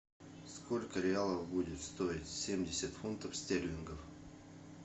сколько реалов будет стоить семьдесят фунтов стерлингов